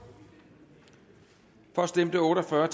for stemte otte og fyrre